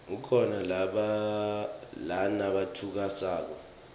kukhona nalatfusako